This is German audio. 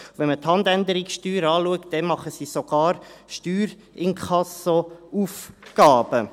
Wenn man die Handänderungssteuer anschaut, machen sie sogar Steuerinkassoaufgaben.